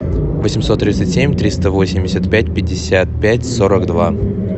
восемьсот тридцать семь триста восемьдесят пять пятьдесят пять сорок два